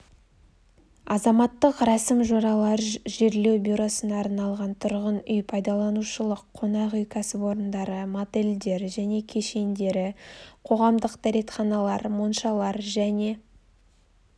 азаматтық рәсім-жоралар жерлеу бюросына арналған тұрғын үй-пайдаланушылық қонақ үй кәсіпорындары мотельдер және кешендері қоғамдық дәретханалар моншалар және